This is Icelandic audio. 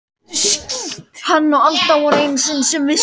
Hann og Alda voru þau einu sem vissu.